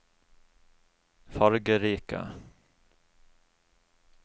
fargerike